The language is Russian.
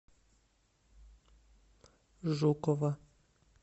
жукова